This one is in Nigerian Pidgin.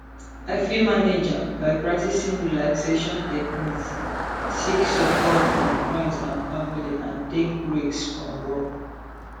i fit manage am by practicing relaxation techniques seek support from friends and family and take breaks from work